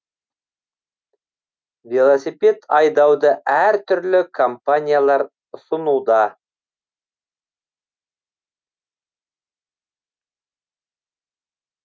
велосипед айдауды әр түрлі компаниялар ұсынуда